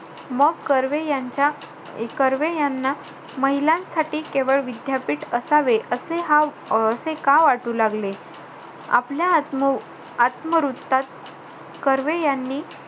मो कर्वे यांच्या~ कर्वे यांना महिलांसाठी केवळ विद्यापीठ असावे, असे हा अं असे का वाटू लागले? आपल्या आत्म~ आत्मवृत्तात कर्वे यांनी,